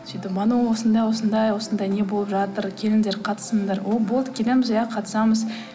сөйтіп бану осындай осындай осындай не болып жатыр келіңдер қатысыңдар о болды келеміз иә қатысамыз